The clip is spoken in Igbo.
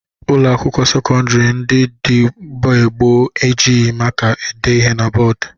Ụlọakwụkwọ sekọndịrị ndị dị mgbe gboo e jighi maka dee ihe na bọọdụ